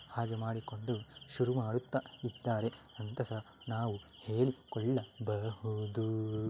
ಹಾಗೆ ಮಾಡಿಕೊಂಡು ಶುರು ಮಾಡುತ್ತಾ ಇದ್ದಾರೆ ಅಂತ ನಾವು ಹೇಳಿ ಕೊಳ್ಳಬಹುದು .